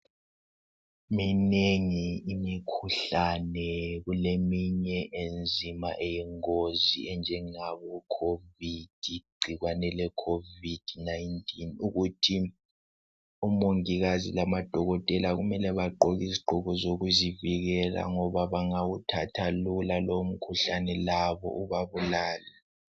Minengi imikhuhlane. Kuleminye enzima eyingozi enjengabo covid. Igcikwane le covid 19 ukuthi oMongikazi labo Dokotela kumele bagqoke izigqoko zokuzivikela ngoba bangawuthatha kalula lowo mkhuhlane .Labo ubabulale.